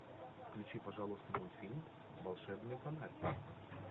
включи пожалуйста мультфильм волшебный фонарь